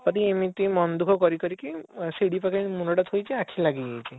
ଏମିତି ମନ ଦୁଃଖ କରି କରିକି ସିଡ଼ି ପାଖରେ ମୁଣ୍ଡ ଥୋଇକି ଆଖି ଲାଗି ଯାଇଛି